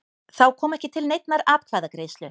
Þá kom ekki til neinnar atkvæðagreiðslu